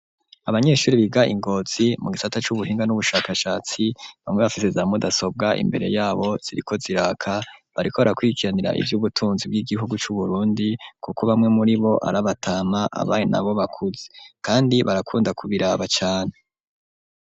Abanyeshuri biga Ingozi mu gisata c'ubuhinga n'ubushakashatsi bamwe bafise za mudasobwa imbere yabo ziriko ziraka bariko bara kwirikiranira ivyubutunzi bw'igihugu c'uburundi kuko bamwe muribo arabatama abandi nabo bakuze kandi barakunda ku biraba cane.